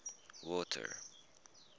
water